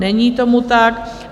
Není tomu tak.